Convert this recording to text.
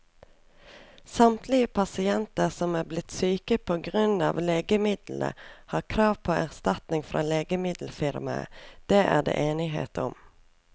Samtlige pasienter som er blitt syke på grunn av legemiddelet, har krav på erstatning fra legemiddelfirmaet, det er det enighet om.